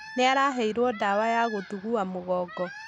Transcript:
Nĩ araheirwo ndawa ya kũthuthua mũgongo.